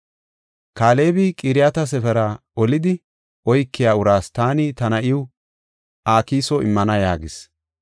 Kaalebi, “Qiriyat-Sefera olidi oykiya uraas taani ta na7iw Akiso immana” yaagis.